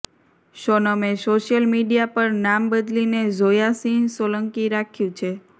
સોનમે social media પર નામ બદલીને ઝોયા સિંહ સોલંકી રાખ્યું છે